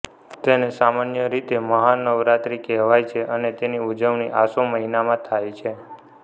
તેને સામાન્ય રીતે મહા નવરાત્રી કહેવાય છે અને તેની ઉજવણી આસો મહિનામાં થાય છે